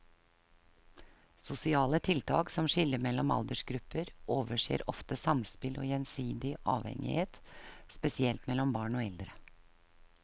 Sosiale tiltak som skiller mellom aldersgrupper overser ofte samspill og gjensidig avhengighet, spesielt mellom barn og eldre.